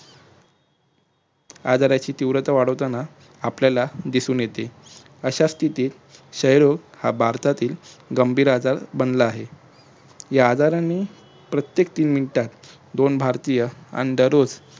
आजाराची तीव्रता वाढवताना आपल्याला दिसून येते. अश्या स्तिथीत क्षय रोग हा भारतातील गंभीर आजार बनला आहे. या आजाराने प्रत्येक तीन मिनिटात दोन भारतीय अन दररोज